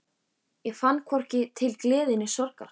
Ég fann hvorki til gleði né sorgar.